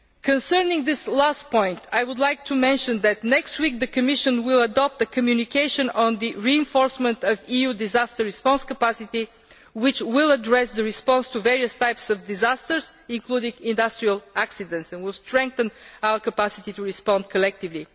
Concerning this last point, I would like to mention that next week, the Commission will adopt the communication on the reinforcement of EU disaster response capacity which will address the response to various types of disasters, including industrial accidents, and will strengthen our capacity to respond collectively.